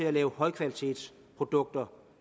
og lave højkvalitetsprodukter